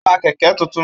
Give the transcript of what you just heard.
Ó ra kẹ̀kẹ́ tuntun